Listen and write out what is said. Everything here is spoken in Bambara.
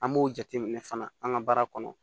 An b'o jateminɛ fana an ka baara kɔnɔ